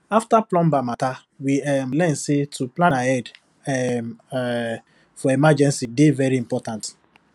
after plumber matter we um learn say to plan ahead um um for emergency dey very important